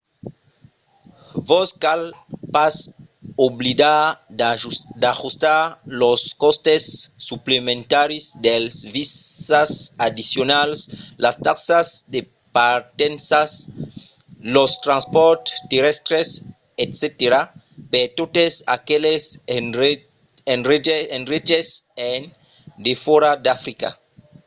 vos cal pas oblidar d'ajustar los còstes suplementaris dels visas addicionals las taxas de partença los transpòrts terrèstres etc. per totes aqueles endreches en defòra d'africa